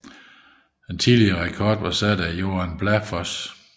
Den forrige rekord var sat af Joan Bláfoss